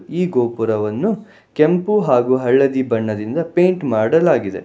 ಈ ಗೋಪುರವನ್ನು ಕೆಂಪು ಹಾಗು ಹಳದಿ ಬಣ್ಣದಿಂದ ಪೆಂಟ್ ಮಾಡಲಾಗಿದೆ.